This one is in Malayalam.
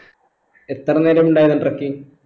എത്ര നേരം ഉണ്ടായിരുന്നു trekking